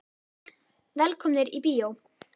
Velkomnir í bíó.